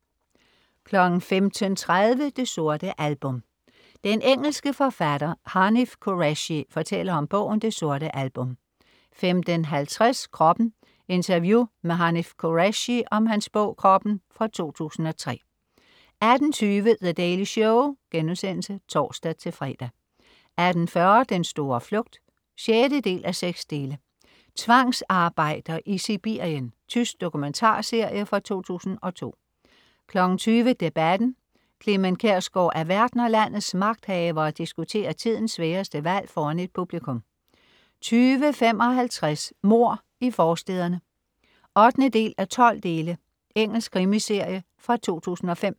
15.30 Det sorte album. Den engelske forfatter Hanif Kureishi fortæller om bogen "Det sorte album" 15.50 Kroppen. Interview med Hanif Kureishi om hans bog "Kroppen" fra 2003 18.20 The Daily Show* (tors-fre) 18.40 Den store flugt 6:6. Tvangsarbejder i Sibirien. Tysk dokumentarserie fra 2002 20.00 Debatten. Clement Kjersgaard er vært, når landets magthavere diskuterer tidens sværeste valg foran et publikum 20.55 Mord i forstæderne 8:12. Engelsk krimiserie fra 2005